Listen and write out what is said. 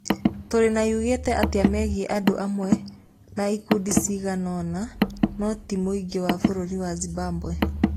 Tũrĩ na yugĩte atĩ megiĩ andũ amwe na ikundi cigana ũna... No ti mũingĩ wa bũrũri wa Zimbabwe.